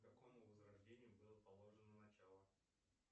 какому возрождению было положено начало